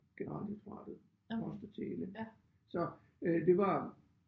Generaldirektoratet post og tele så øh det var